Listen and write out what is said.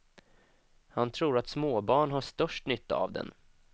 Han tror att småbarn har störst nytta av den.